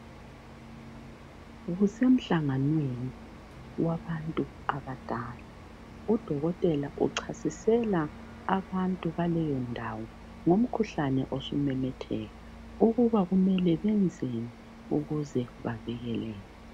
Kusemhlanganweni wabantu abadala. Udokotela uchasisela abantu baleyondawo ngomkhuhlane osumemetheka ukuba kumele benzeni ukuze bavikeleke.